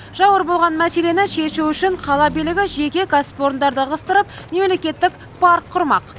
жауыр болған мәселені шешу үшін қала билігі жеке кәсіпорындарды ығыстырып мемлекеттік парк құрмақ